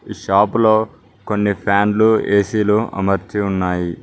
షాపులో కొన్ని ఫ్యాన్లు ఏ_సీ లు అమర్చి ఉన్నాయి.